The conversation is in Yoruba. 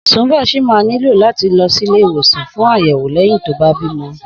Sùnḿbọ̀ ṣì máa nílò láti lọ sílé ìwòsàn fún àyẹ̀wò lẹ́yìn tó bá bímọ